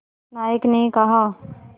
नायक ने कहा